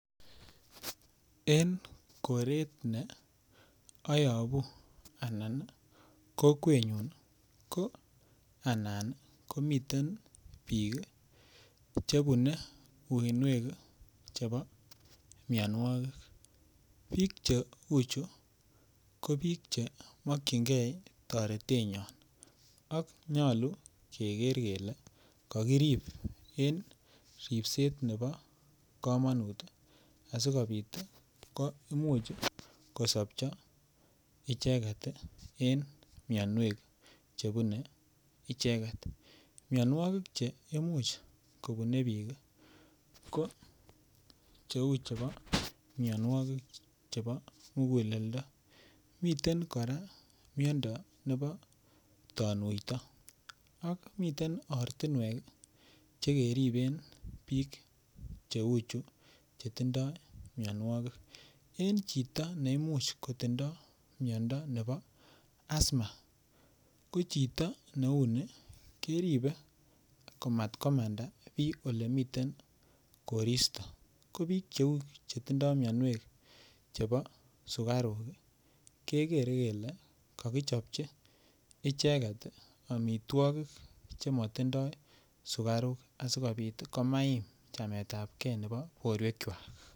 En koret ne oyobu anan kokwenyun ko anan komiten bik kii chebenue uinuek chebo mionwokik bik cheu chuu kobik che mokingee toretenyon ak nyolu keker Koraa kele kokirib en ripset nebo komonut asikopit ko imuch kosobchi icheket tii en mionwek chebune icheket. Mionwokik che imuch kobune bik kii ko cheu chebo mionwokik chebo mukuleldo, miten Koraa miondo nebo tonuito ak miten ortunwek chekeriben bik cheu chuu chetindo mionwokik. En chito neimuch kotindo miondo nebo Asma ko chito neuni keribe komatkomanda bii olemiten koristo ko bik cheu chetindo mionwokik chebo sukaruk kii Kekere kele kokichopchi icheket tii omitwokik chemotindo sukaruk asikopit tii komait chametabgee nebo borwek kwak.